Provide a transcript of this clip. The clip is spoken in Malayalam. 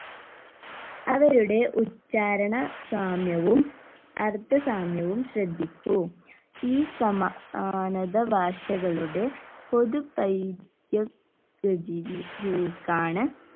അവരുടെ ഉച്ചാരണ സാമ്യവും അർത്ഥ സാമ്യവും ശ്രദ്ധിക്കൂ ഈ സമ ആനത ഭാഷകളുടെ പൊതു ക്കാണ്